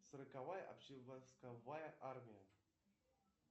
сороковая общевойсковая армия